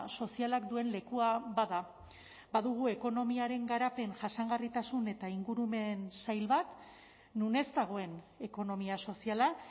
sozialak duen lekua bada badugu ekonomiaren garapen jasangarritasun eta ingurumen sail bat non ez dagoen ekonomia soziala